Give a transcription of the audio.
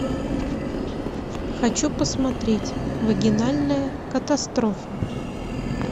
хочу посмотреть вагинальная катастрофа